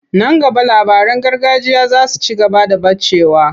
Nan gaba labaran gargajiya za su ci gaba da ɓacewa.